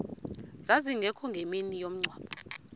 zazingekho ngemini yomngcwabo